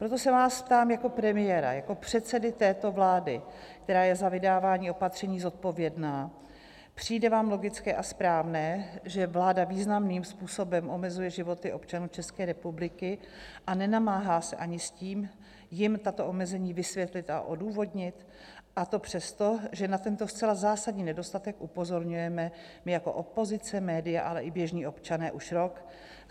Proto se vás ptám jako premiéra, jako předsedy této vlády, která je za vydávání opatření zodpovědná: Přijde vám logické a správné, že vláda významným způsobem omezuje životy občanů České republiky a nenamáhá se ani s tím, jim tato omezení vysvětlit a odůvodnit, a to přesto, že na tento zcela zásadní nedostatek upozorňujeme my jako opozice, média, ale i běžný občané už rok?